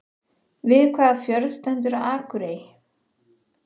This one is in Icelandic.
Við hvaða fjörð stendur Akurey?